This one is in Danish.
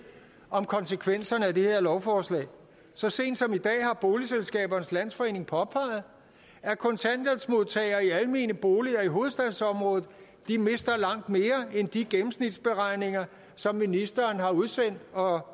om konsekvenserne af det her lovforslag så sent som i dag har boligselskabernes landsforening påpeget at kontanthjælpsmodtagere i almene boliger i hovedstadsområdet mister langt mere end i de gennemsnitsberegninger som ministeren har udsendt og